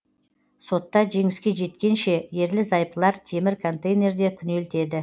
сотта жеңіске жеткенше ерлі зайыптылар темір контейнерде күнелтеді